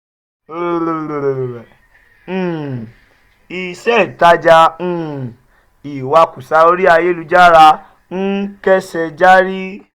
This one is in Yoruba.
um iṣẹ́ ìtajà um ìwakùsà orí ayélujára ń kẹ́sẹ járí